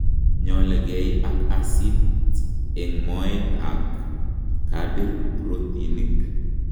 Ng'olekei ak asit eng' moet ak kabir protinik